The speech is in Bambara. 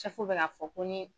Sɛfu bɛn'a fɔ ko n ye